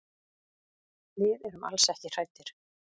Við erum alls ekki hræddir.